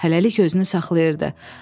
Hələlik özünü saxlayırdı.